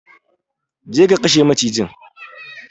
Go and kill the snake!